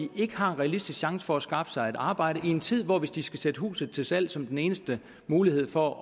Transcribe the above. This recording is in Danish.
ikke har en realistisk chance for at skaffe sig et arbejde i en tid hvor boligmarkedet hvis de skal sætte huset til salg som den eneste mulighed for